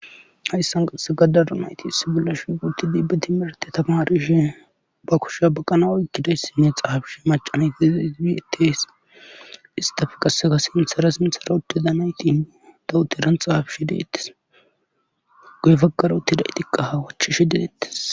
Hayssan qasseka daro nayti issi bolla shiiqi utidi ba timirte tamarishe ba kushiya baqanas uttidees. xaafishe macca nay uttidees. istappe qassekka sinththara sinthar uthida nayti dawutaran xaafishe deetees. guye bagara utidaytikka ha wochishe deetes.